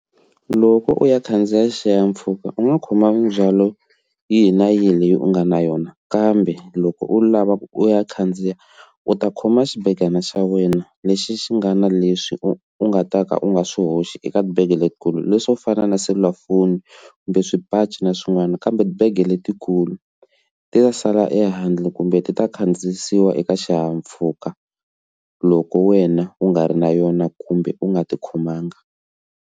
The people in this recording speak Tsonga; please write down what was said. Loko u ya khandziya xihahampfhuka u nga khoma ndzwalo yihi na yihi leyi u nga na yona kambe loko u lava ku u ya khandziya u ta khoma xibekana xa wena lexi xi nga na lexi u u nga ta ka u nga swi hoxi eka bege letikulu leswo fana na selulafoni kumbe swipachi na swin'wana kambe bege letikulu ti ta sala ehandle kumbe ti ta khandziya yisiwa eka xihahampfhuka loko wena u nga ri na yona kumbe u nga ti khomanga.